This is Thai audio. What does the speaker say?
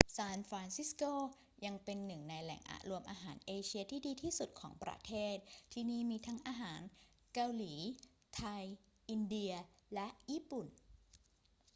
ซานฟรานซิสโกยังเป็นหนึ่งในแหล่งรวมอาหารเอเชียที่ดีที่สุดของประเทศ ที่นี่มีทั้งอาหารเกาหลี ไทย อินเดีย และญี่ปุ่น